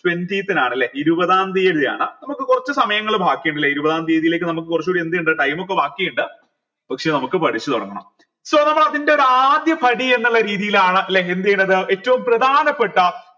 twentieth നാണല്ലേ ഇരുപതാം തീയതിയാണ് നമുക്ക് കുറച്ചു സമയങ്ങൾ ബാക്കിയുണ്ടല്ലേ ഇരുപതാം തീയതിയിലേക്ക് നമുക്ക് കുറച്ചൂടി എന്ത് ഇണ്ട് time ഒക്കെ ബാക്കിയിണ്ട് പക്ഷെ നമുക്ക് പഠിച്ചു തുടങ്ങണം so നമ്മൾ അതിന്റെ ഒരു ആദ്യ പടി എന്നിള്ള രീതിയിലാണ് ല്ലെ എന്തെയ്യണത് ഏറ്റവും പ്രധാനപ്പെട്ട